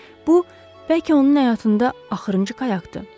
Bu bəlkə onun həyatında axırıncı qayaqdır.